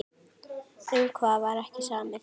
Um hvað var ekki samið?